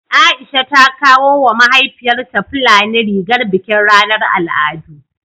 Aisha ta kawo wa mahaifiyarta fulani rigar bikin ranar al'adu